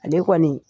Ale kɔni